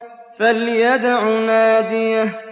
فَلْيَدْعُ نَادِيَهُ